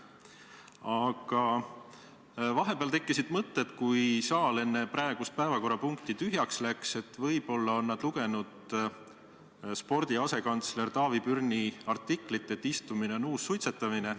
Aga vahepeal, kui saal enne praegust päevakorrapunkti tühjaks läks, tekkis mul mõte, et võib-olla on nad lugenud spordi asekantsleri Tarvi Pürni artiklit, kus väidetakse, et istumine on uus suitsetamine.